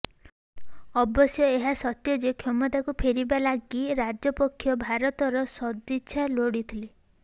ଅବଶ୍ୟ ଏହା ସତ୍ୟ ଯେ କ୍ଷମତାକୁ ଫେରିବା ଲାଗି ରାଜପକ୍ଷ ଭାରତର ସଦିଚ୍ଛା ଲୋଡ଼ିଥିଲେ